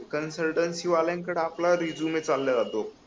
consultancy वाल्याकडे आपला resume चालल्या जातो